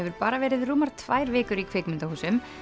bara verið rúmar tvær vikur í kvikmyndahúsum